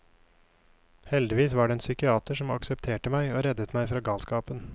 Heldigvis var det en psykiater som aksepterte meg og reddet meg fra galskapen.